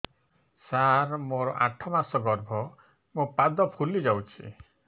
ସାର ମୋର ଆଠ ମାସ ଗର୍ଭ ମୋ ପାଦ ଫୁଲିଯାଉଛି